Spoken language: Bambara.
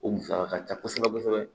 O musaka ka ca kosɛbɛ kosɛbɛ